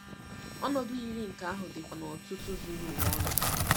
Ọnọdụ yiri nke ahụ dịkwa n'ọ̀tụ̀tụ̀ zuru ụwa ọnụ.